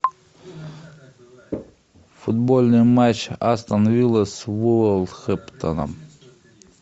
футбольный матч астон виллы с вулверхэмптоном